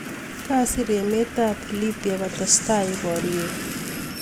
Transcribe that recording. Kasir emet ab Libya kotesetai boriet.